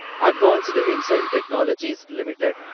advanced Enzyme Technologies limited